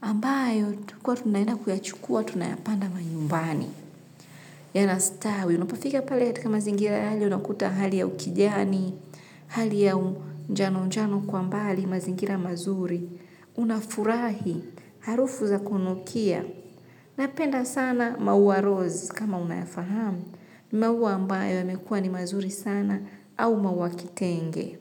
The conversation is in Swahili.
ambayo kwa tunaenda kuyachukua tunayapanda manyumbani. Yanastawi, unapafika pali hatika mazingira yale unakuta hali ya ukidiani, hali ya unjano unjano kwa mbali mazingira mazuri, unafurahi, harufu za kunukia. Napenda sana maua rose kama unayafahamu, maua ambaye yamekua ni mazuri sana au maua kitenge.